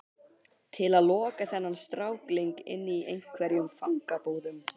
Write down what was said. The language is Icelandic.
Til að loka þennan strákling inni í einhverjum fangabúðum?